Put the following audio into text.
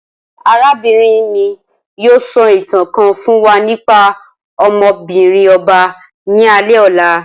Arabinrin mi yoo sọ itan kan fun wa nipa ọmọ-binrin ọba ni alẹ ọla